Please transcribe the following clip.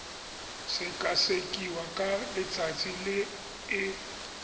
sekasekiwa ka letsatsi le e